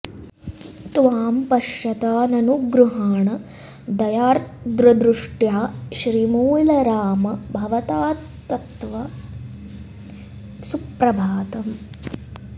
त्वां पश्यता ननु गृहाण दयार्द्रदृष्ट्या श्रीमूलराम भवतात्तव सुप्रभातम्